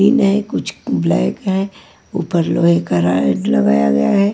ई नये कुछ ब्लैक है ऊपर लोहे का रॉड लगाया हुआ है।